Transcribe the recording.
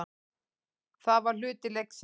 Það var hluti leiksins.